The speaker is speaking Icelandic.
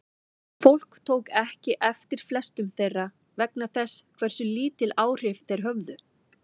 Fólk tók ekki eftir flestum þeirra vegna þess hversu lítil áhrif þeir höfðu.